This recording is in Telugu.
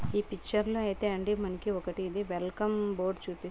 ఈ పిక్చర్ లో అయితే అండి మనకి ఒకటి ఇది వెల్కమ్ బోర్డు చుపి --